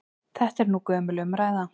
Þetta er nú gömul umræða.